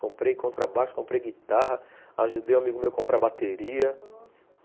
Comprei contrabaixo, comprei guitarra, ajudei um amigo meu a comprar bateria, nossa...